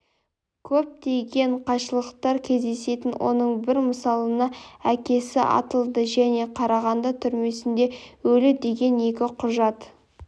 көптеген қайшылықтар кездесетінін оның бір мысалына әкесі атылды және қарағанды түрмесінде өлді деген екі құжат